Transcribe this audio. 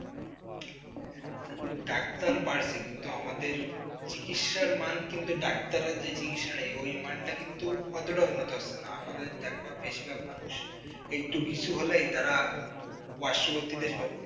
Doctor বাড়ছে কিন্তু আমাদের চিকিত্সার মান কিন্তু doctor রা যে চিকিৎসা সেই মানটা কিন্তু এতটা উন্নতি হচ্ছে না। আমাদের দেখা বেশিরভাগ মানুষ একটু কিছু হলেই তারা পার্শ্ববর্তী দেশ